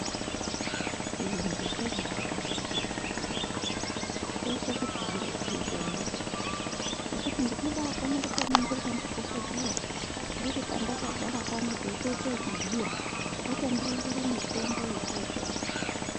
Chiyungu chobadakadza akhiti voye, choite kuti zviro zviite nyore. Zvekuti ndinobakone kutoningirwa ndidhogodheya ndiri pandakagara pano teitoite yekubhuya votondirozwere mitombo yekotenga.